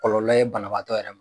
Kɔlɔlɔ ye banabaatɔ yɛrɛ ma.